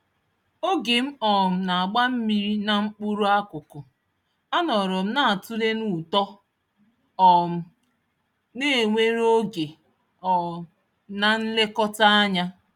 Oge m um nagba mmírí na mkpụrụ-akuku, anọrọm natule na útó um newèrè Oge um na Nlekọta ányá.